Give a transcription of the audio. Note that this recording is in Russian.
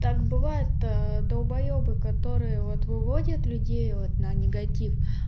так бывает долбаебы которые вот выводят людей вот на негатив